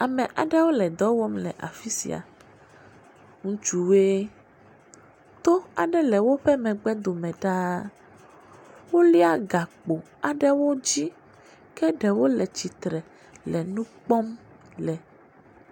Ame aɖewo le dɔ wɔm le afi sia. Ŋutsuwoe. To aɖe le woƒe megbedome ɖaa. Wolia gakpo aɖewo dzi ke ɖewo le tsitre le nu kpɔm le.